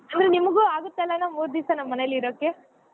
ಅಂದ್ರೆ ನಿಮಗೂ ಆಗತ್ತಲಾ ಮೂರ್ ದಿವ್ಸ ನಮ್ ಮನೆಲೆ ಇರೋಕೆ.